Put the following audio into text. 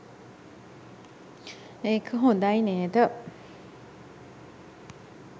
ඒක හොඳයි නේද?